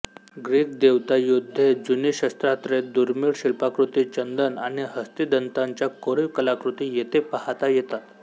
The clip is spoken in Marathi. ग्रीक देवता योद्धे जुनी शस्त्रास्त्रे दुर्मिळ शिल्पाकृती चंदन आणि हस्तीदंताच्या कोरीव कलाकृती येथे पाहता येतात